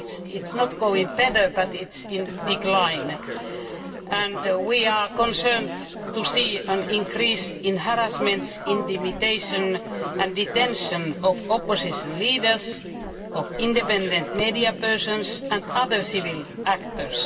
It is not going better but it is in decline. We are concerned to see an increase in harassments, intimidation and detention of opposition leaders, of independent media persons and other civil actors.